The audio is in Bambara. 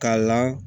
K'a la